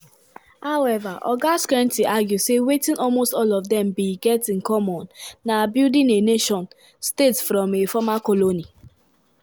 however oga skrentny argue say wetin almost all of dem bin get in common na "building a nation-state from a former colony".